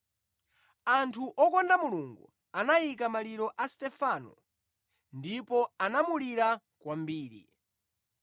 Anthu okonda Mulungu anayika maliro a Stefano ndipo anamulira kwambiri.